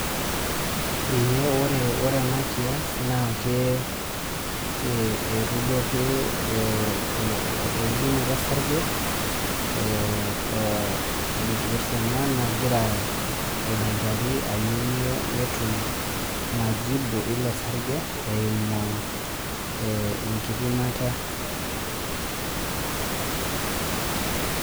Ee ore enakias na etudo ake eudunoto osarge nagira oldakitari ayieu netum majibu ilosarge eimu e enkipimata.